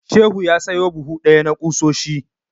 Shehu ya sayo buhu ɗaya na ƙusoshi.